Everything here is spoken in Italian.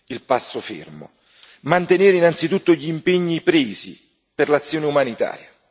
il passo fermo. Mantenere innanzitutto gli impegni presi per l'azione umanitaria.